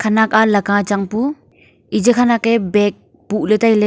khanak a laka changpu eji khanak ye bag puhley tailey.